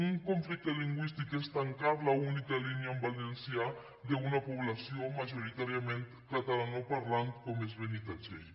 un conflicte lingüístic és tancar l’única línia en valencià d’una població majoritàriament catalanoparlant com és benitatxell